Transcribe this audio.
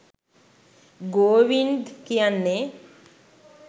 ගෝවින්ද් කියන්නේ